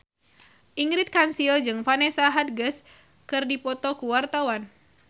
Ingrid Kansil jeung Vanessa Hudgens keur dipoto ku wartawan